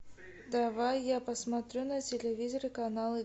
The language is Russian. давай я посмотрю на телевизоре канал